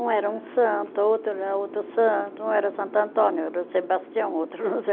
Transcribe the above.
Um era um santo, outro era outro santo, um era Santo Antônio, outro era Sebastião, outro não sei.